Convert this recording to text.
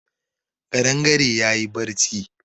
Ƙadangare ya yi barci